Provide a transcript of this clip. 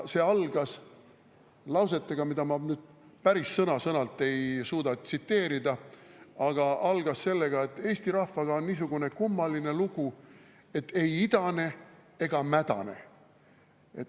See algas lausetega, mida ma nüüd päris sõna-sõnalt ei suuda tsiteerida, aga algas sellega, et eesti rahvaga on niisugune kummaline lugu, et ei idane ega mädane.